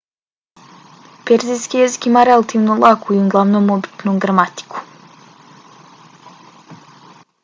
perzijski jezik ima relativno laku i uglavnom običnu gramatiku